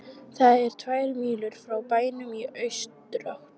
Það er um tvær mílur frá bænum í austurátt.